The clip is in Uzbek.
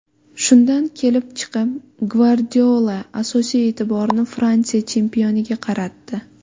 Shundan kelib chiqib, Gvardiola asosiy e’tiborini Fransiya chempioniga qaratdi.